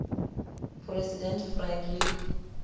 president franklin